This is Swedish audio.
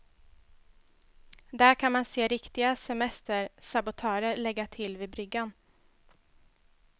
Där kan man se riktiga semestersabotörer lägga till vid bryggan.